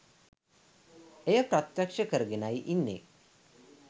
එය ප්‍රත්‍යක්ෂ කරගෙනයි ඉන්නේ.